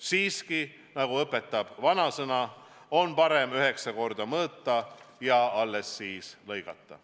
Siiski, nagu õpetab vanasõna, on parem üheksa korda mõõta ja alles siis lõigata.